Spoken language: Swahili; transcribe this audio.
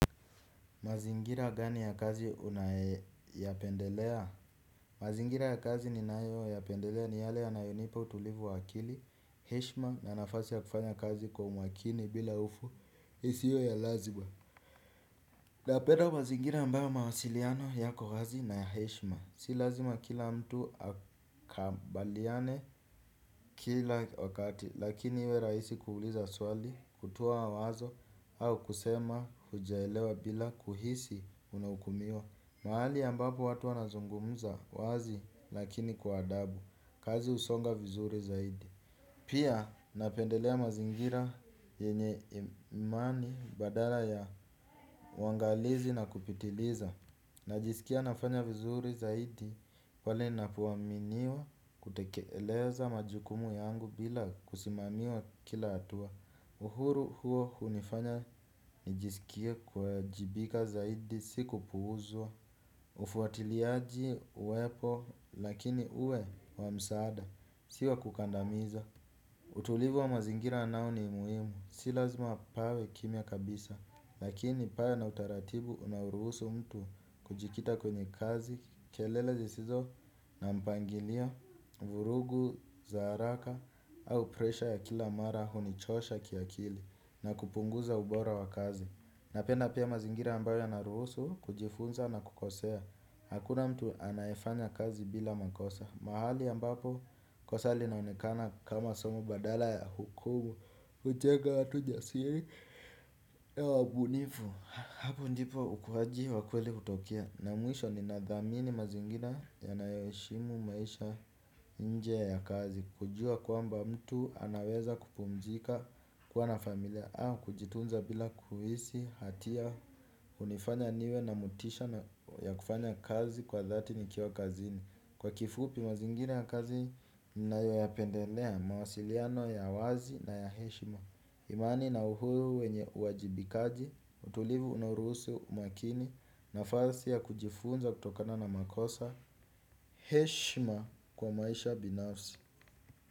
Mazingira gani ya kazi unayependelea? Mazingira ya kazi ninayo yapendelea ni yale yanayunipa utulivu wa akili, heishma na nafasi ya kufanya kazi kwa umakini bila ufu, hii siyo ya lazimaa. Napenda mazingira ambayo mawasiliano yako wazi na ya heshima. Si lazima kila mtu akambaliane kila wakati, lakini iwe raisi kuguliza swali, kutuwa wazo, au kusema hujaelewa bila kuhisi unahukumio. Mahali ambapo watu wanazungumza wazi lakini kwa adabu. Kazi husonga vizuri zaidi. Pia napendelea mazingira yenye imani badala ya wangalizi na kupitiliza. Najisikia nafanya vizuri zaidi pale ninapoaminiwa kutekeleza majukumu yangu bila kusimamiwa kila hatua. Uhuru huo hunifanya nijisikie kuwajibika zaidi si kupuuzwa. Ufuatiliaji uepo lakini uwe wa msaada si wa kukandamiza. Utulivu wa mazingira nao ni muhimu, si lazima pawe kimya kabisa lakini pawe na utaratibu unaoruhusu mtu kujikita kwenye kazi. Kelele zisizo na mpangilio, vurugu za haraka au presha ya kila mara hunichosha kiakili na kupunguza ubora wa kazi. Napenda pia mazingira ambayo yanaruhusu kujifunza na kukosea. Hakuna mtu anayefanya kazi bila makosa. Mahali mbapo kosa linaonekana kama somo badala ya hukumu. Ucheka watu jasiri ya wabunifu. Hapu njipo ukuhaji wakueli utokia. Na muisho ni nadhamini mazingina ya nayoishimu maisha nje ya kazi. Kujua kwamba mtu anaweza kupumzika kuwa na familia au kujitunza bila kuhisi hatia hunifanya niwe na motisha ya kufanya kazi kwa dhati nikiwa kazini. Kwa kifupi mazingira ya kazi, ninayo ya pendelea mawasiliano ya wazi na ya heshima. Imani na uhuru wenye uajibikaji, utulivu unoruhusu umakini nafasi ya kujifunza kutokana na makosa. Heshima kwa maisha binafsi.